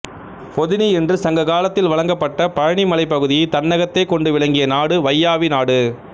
பொதினி என்று சங்க காலத்தில் வழங்கப்பட்ட பழனிமலைப் பகுதியைத் தன்னகத்தே கொண்டு விளங்கிய நாடு வையாவி நாடு